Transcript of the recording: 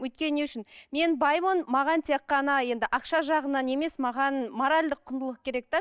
өйткені не үшін мен баймын маған тек қана енді ақша жағынан емес маған моральдық құндылық керек те